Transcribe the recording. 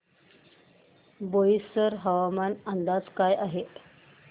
बोईसर हवामान अंदाज काय आहे